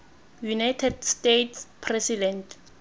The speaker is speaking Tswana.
united states president